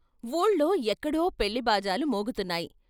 ఊళ్ళో ఎక్కడో పెళ్ళి బాజాలు మోగుతున్నాయి.